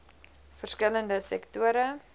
verskil lende sektore